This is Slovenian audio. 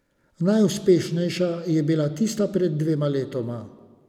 Najuspešnejša je bila tista pred dvema letoma.